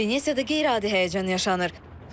Venesiyada qeyri-adi həyəcan yaşanır.